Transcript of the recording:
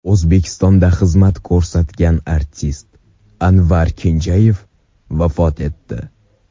O‘zbekistonda xizmat ko‘rsatgan artist Anvar Kenjayev vafot etdi.